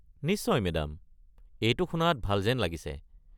নিশ্চয় মেদাম। এইটো শুনাত ভাল যেন লাগিছে।